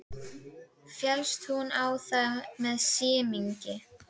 Féllst hún á það með semingi.